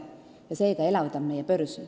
See elavdab meie börsi.